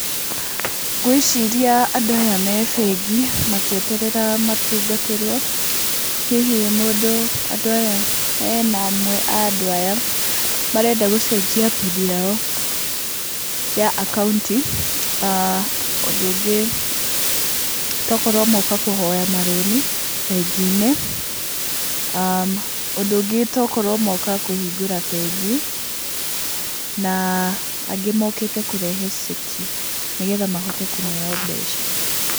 Ngwĩciria andũ aya me bengi, makĩeterera matungatĩrwo, hihi mũndũ hena amwe a andũ aya, marenda gũcenjia pini yao ya akaunti, aah ũndũ ũngĩ, tokorwo moka kũhoya marũni bengi-inĩ, ũndũ ũngĩ nĩgũkorwo moka kũhingũra bengi, na angĩ mokĩte kũrehe ceki, nĩgetha mahote kũneyo mbeca.